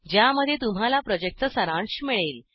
ज्यामध्ये तुम्हाला प्रॉजेक्टचा सारांश मिळेल